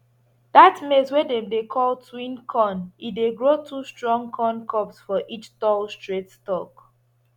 dat maize wey dem dey call twin corn e dey grow two strong corn cobs for each tall straight stalk